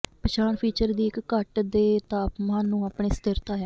ਪਛਾਣ ਫੀਚਰ ਦੀ ਇਕ ਘੱਟ ਦੇ ਤਾਪਮਾਨ ਨੂੰ ਆਪਣੇ ਸਥਿਰਤਾ ਹੈ